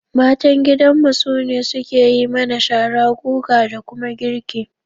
Matan gidanmu su ne suke yi mana shara, guga da kuma girki